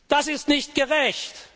Das ist nicht gerecht!